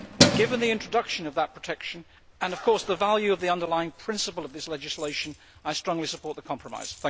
Given the introduction of that protection, and the value of the underlying principle of this legislation, I strongly support the compromise.